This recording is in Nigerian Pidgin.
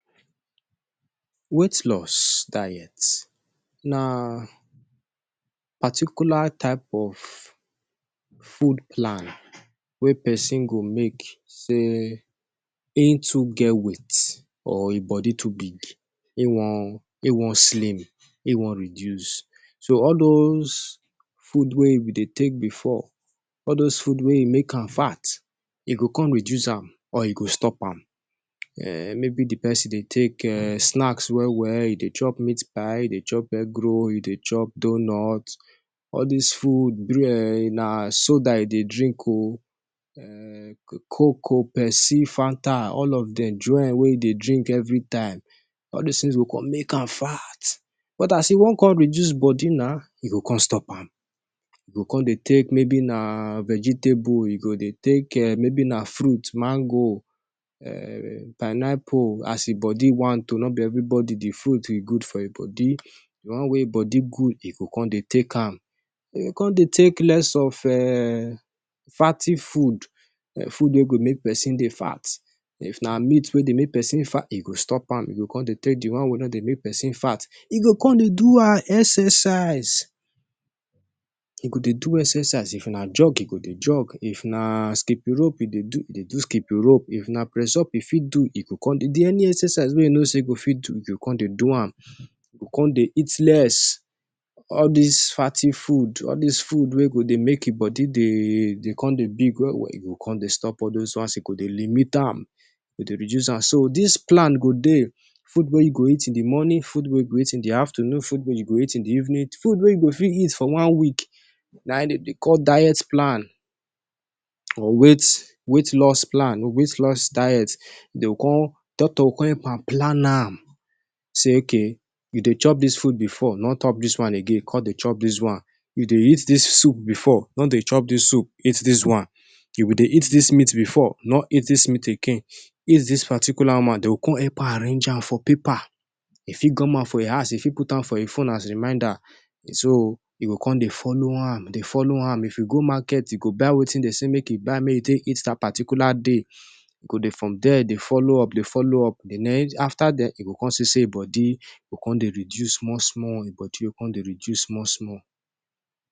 Weight Loss Diet Na particular type of food plan wey persin go make say hin too get weight or hin body too big e won slim, hin won reduce so all those food wey hin Dey take before all those food wey make ham fat e go come reduce am or e go stop am maybe d persin Dey take snacks well well E Dey chop meat pie, e de chop egg roll, e de chop donut, all this food, soda e de drink, coke o, pepsi, fanta, all of them, join wey dey drink every time, all the things go come make am fat. But as e won come reduce body now, e go con stop am. e go con de take maybe na vegetable, e go con de take maybe na fruit, mango, pineapple, as the body want o, not every body the fruit good for hin body. E go con dey take am. E go co Dey take less of fatty food. Food wey Dey make person dey fat. U go stop am. E go con de take d wan wey no de make person fat. E go co dey do exercise. E go de do exercise. If na jog. E go con de jog. If na skipping rope. E go con Dey de do skipping rope. If na press up. E go co dey do an. E go con Dey eat less all dis fatty food wey go Dey make him body Dey con Dey big he go con Dey stop all those ones e go Dey limit am, e go Dey reduce am so dis plan go Dey food wey u go eat in d morning food wey u go eat in d afternoon food wey u go eat in d evening, food wey u go fit eat for one week, na hin dem Dey call diet plan or weight loss plan, doctor go con help am plan am Say okay You de chop this food before. No Dey chop dis one again. Con de chop dis one. You de eat dis soup before. No de chop dis soup. Eat dis one. You de eat dis meat before. No eat dis meat again. Eat dis particular one. Dey go con arrange am for paper. he fit gum am for hin house, he fit put am for him phone as reminder. So, he go de follow ha. De follow am. If you go market, you go buy wetin De say make him buy make take eat that particular day. You go de from there, de follow up. De follow up. De follow up. After then, e go con see say hin body Dey reduce small small.